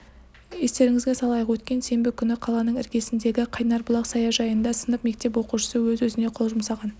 естеріңізге салайық өткен сенбі күні қаланың іргесіндегі қайнар бұлақ саяжайында сынып мектеп оқушысы өз-өзіне қол жұмсаған